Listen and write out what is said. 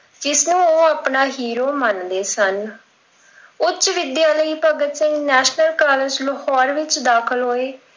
ਇਸ ਨੂੰ ਉਹ ਆਪਣਾ hero ਮੰਨਦੇ ਸਨ। ਉੱਚ ਵਿੱਦਿਆ ਲਈ ਭਗਤ ਸਿੰਘ National College ਲਾਹੌਰ ਵਿੱਚ ਦਾਖਿਲ ਹੋਏ।